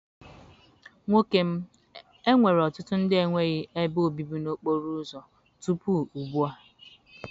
Nwoke m, enwere ọtụtụ ndị enweghị ebe obibi n'okporo ụzọ tupu ugbu a.